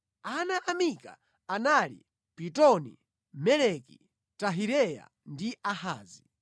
Ana a Mika anali: Pitoni, Meleki, Tahireya ndi Ahazi.